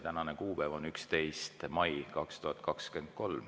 Tänane kuupäev on 11. mai 2023.